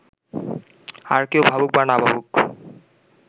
আর কেউ ভাবুক বা না ভাবুক